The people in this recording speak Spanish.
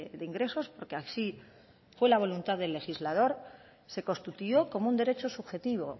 de ingresos porque así fue la voluntad del legislador se constituyó como un derecho subjetivo